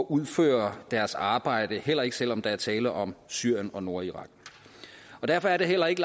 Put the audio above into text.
udføre deres arbejde heller ikke selv om der er tale om syrien og nordirak derfor er der heller ikke